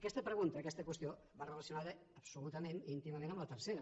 aquesta pregunta aquesta qüestió va relacionada absolutament i íntimament amb la tercera